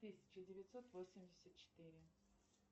тысяча девятьсот восемьдесят четыре